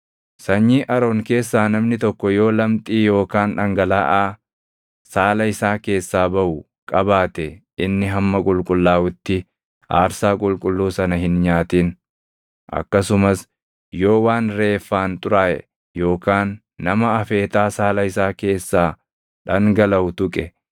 “ ‘Sanyii Aroon keessaa namni tokko yoo lamxii yookaan dhangalaʼaa saala isaa keessaa baʼu qabaate inni hamma qulqullaaʼutti aarsaa qulqulluu sana hin nyaatin. Akkasumas yoo waan reeffaan xuraaʼe yookaan nama afeetaa saala isaa keessaa dangalaʼu tuqe,